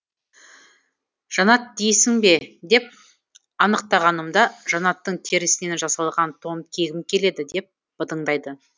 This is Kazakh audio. жанат дейсің бе деп анықтағанымда жанаттың терісінен жасалған тон кигім келеді деп быдыңдайды